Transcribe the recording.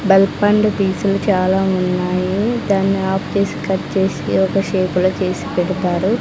Pulp and పీసులు చాలా ఉన్నాయి దాన్ని హాఫ్ చేసి కట్ చేసి ఒక షేపులో చేసి పెడతారు.